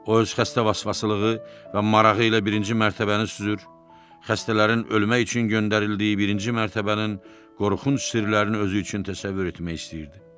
O öz xəstə vasvasılığı və marağı ilə birinci mərtəbəni süzür, xəstələrin ölmək üçün göndərildiyi birinci mərtəbənin qorxunc sirlərini özü üçün təsəvvür etmək istəyirdi.